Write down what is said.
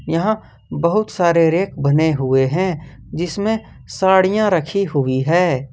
यहां बहुत सारे रेक बने हुए हैं जिसमें साड़ियां रखी हुई है।